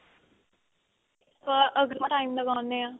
ਪਰ ਅਗਰ time ਲਗਾਉਣੇ ਆਂ